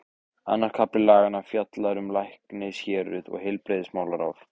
Annar kafli laganna fjallar um læknishéruð og heilbrigðismálaráð.